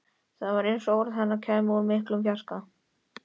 Það var eins og orð hennar kæmu úr miklum fjarska.